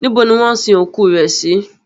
Níbo ni wọn sin òkú rẹ̀ sí?